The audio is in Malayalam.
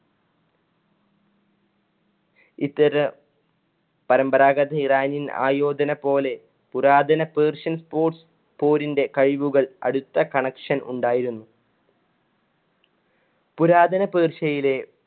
ഇത്തരം പരമ്പരാഗത ഇറാനിയന്‍ ആയോധന പോലെ പുരാതന പേർഷ്യൻ sports പോരിന്‍ടെ കഴിവുകൾ അടുത്ത connection ഉണ്ടായിരുന്നു. പുരാതന പേർഷ്യയിലെ